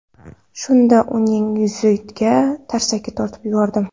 Shunda uning yuziga tarsaki tortib yubordim.